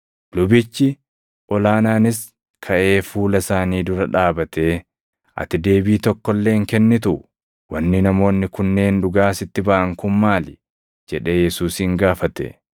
Lubichi ol aanaanis kaʼee fuula isaanii dura dhaabatee, “Ati deebii tokko illee hin kennituu? Wanni namoonni kunneen dhugaa sitti baʼan kun maali?” jedhee Yesuusin gaafate.